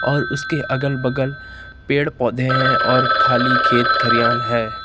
और उसके अगल बगल पेड़ पौधे हैं और खाली खेत खारियान है।